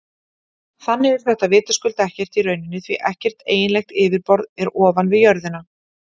Þannig er þetta vitaskuld ekki í rauninni því ekkert eiginlegt yfirborð er ofan við jörðina.